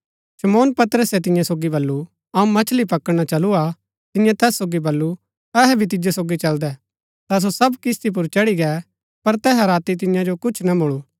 शमौन पतरसे तियां सोगी बल्लू अऊँ मछली पकडणा चलू हा तियें तैस सोगी बल्लू अहै भी तिजो सोगी चलदै ता सो सब किस्ती पुर चढ़ी गै पर तैहा राती तियां जो कुछ ना मुळू